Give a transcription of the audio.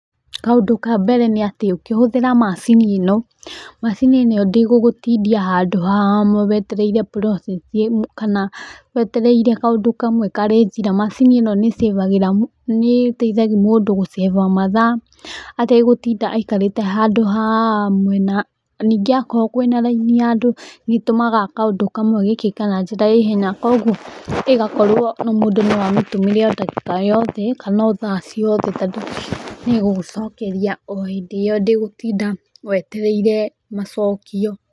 Kaũndũ ka mbere nĩ atĩ ũkĩhũthĩra macini ĩno, macini ĩno ndĩgũgũtindia handũ hamwe wetereire process kana wetereire kaũndũ kamwe karĩki na macini ĩno nĩ ĩcĩbagĩra, nĩ ĩteithagia mũndũ gũcĩba mathaa, ategũtinda aikarĩte handũ hamwe. Na ningĩ akorwo kwĩ na raini ya andũ, nĩ ĩtũmaga kaũndũ kamwe gekĩke na njĩra ya ihenya koguo ĩgakorwo, mũndũ no amitũmĩre ndagĩka o yothe kana o thaa ciothe. Tondũ nĩ ĩgũgũcokeria o hĩndĩ ĩyo ndĩgũtinda wetereire macokio.